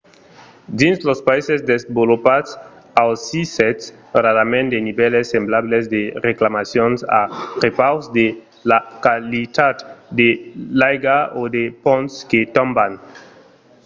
dins los païses desvolopats ausissètz rarament de nivèls semblables de reclamacions a prepaus de la qualitat de l’aiga o de ponts que tomban